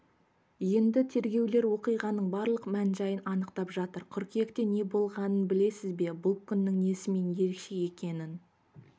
енді тергеушілер оқиғаның барлық мән-жайын анықтап жатыр қыркүйекте неболғанын білесіз бе бұл күннің несімен ерекше екенін